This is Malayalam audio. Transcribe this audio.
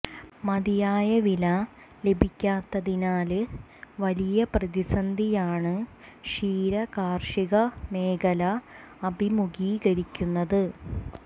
മതിയായ വില ലഭിക്കാത്തതിനാല് വലിയ പ്രതിസന്ധിയാണ് ക്ഷീര കാര്ഷിക മേഖല അഭിമുഖീകരിക്കുന്നത്